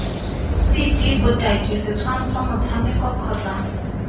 cd botaki setshwantsho motshameko kgotsa